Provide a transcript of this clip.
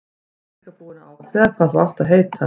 Ég er líka búinn að ákveða hvað þú átt að heita.